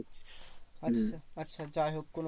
আচ্ছা আচ্ছা যাইহোক কোনো